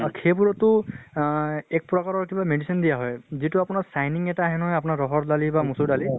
আৰু সেইবোৰতো আহ এক প্ৰকাৰৰ কিবা medicine দিয়া হয় যিটো আপোনাৰ shining এটা আহে নহয় আপোনাৰ ৰহৰ দালিৰ বা মচুৰ দালিৰ